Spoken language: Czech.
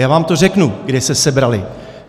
Já vám to řeknu, kde se sebraly.